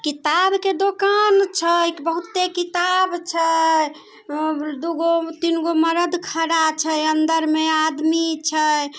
किताब के दोकान छै। एक बहुते किताब छै। ए दोगो तीनगो मरद खड़ा छै। अंदर में आदमी छै।